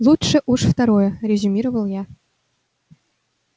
лучше уж второе резюмировал я